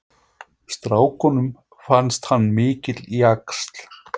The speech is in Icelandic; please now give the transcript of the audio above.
Strákunum fannst hann mikill jaxl.